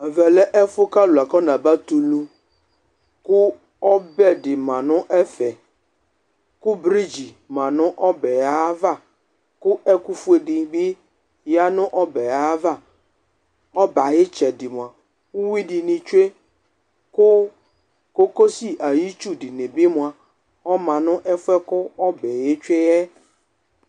Ɛmɛ lɛ ɛfʋ ƙʋ alʋ afɔ na ba tɛ ulu; ƙʋ ɔbɛ ɖɩ ma nʋ ɛfɛƘʋ briɖz ma nʋ ɔbɛ aƴʋ ava, ɛƙʋ fue ɖɩ bɩ ƴa nʋ ɔbɛ aƴʋ avaƆbɛ aƴʋ ɩtsɛɖɩ mʋa, uyui ɖɩnɩ tsue ƙʋ ƙoƙo si aƴʋ itsu ɖɩnɩ bɩ mʋa ɔma nʋ ɛfʋ ƴɛ bʋaƙʋ ɔbɛ ƴɛ tsue ƴɛ